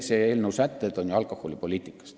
Selle eelnõu sätted on ju ka alkoholipoliitikas.